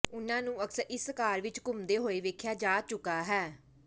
ਉਨ੍ਹਾਂ ਨੂੰ ਅਕਸਰ ਇਸ ਕਾਰ ਵਿੱਚ ਘੁੰਮਦੇ ਹੋਏ ਵੇਖਿਆ ਜਾ ਚੁੱਕਿਆ ਹੈ